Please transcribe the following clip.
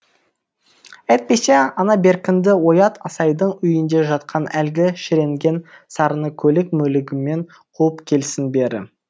әйтпесе ана беркінді оят асайдың үйінде жатқан әлгі шіренген сарыны көлік мөлігімен қуып келсін бері